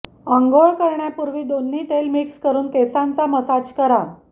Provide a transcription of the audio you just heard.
आंघोळ करण्यापूर्वी दोन्ही तेल मिक्स करून केसांचा मसाज करा